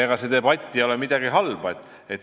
Sellises debatis ei ole midagi halba.